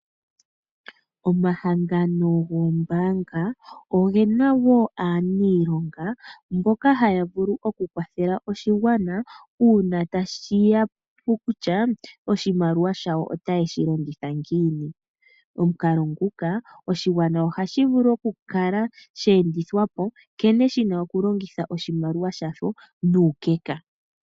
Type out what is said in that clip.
Omahangano goombaanga oge na wo aaniilonga mboka haya vulu oku kwathela oshigwana nkene ye na okulongitha oshimaliwa shasho. Omukalo nguka oshigwana ohashi vulu okukala sha endithwa po nkene shi na okulongitha oshimaliwa shawo nuukeka